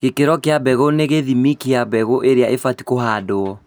Gĩkĩro kĩa mbegũ nĩ gĩthimi kĩa mbegũ iria ibatie kũhandwo